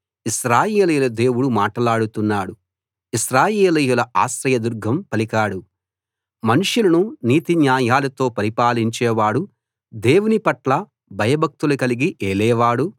ఇశ్రాయేలీయుల దేవుడు మాటలాడుతున్నాడు ఇశ్రాయేలీయుల ఆశ్రయదుర్గం పలికాడు మనుషులను నీతిన్యాయాలతో పరిపాలించేవాడు దేవునిపట్ల భయభక్తులు కలిగి ఏలేవాడు